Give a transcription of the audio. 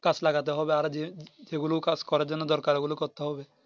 গাছ লাগাতে হবে আরো যে যেগুলি কাজ করার জন্য দরকার ও গুলো করতে হবে